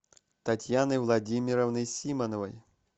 татьяны владимировны симоновой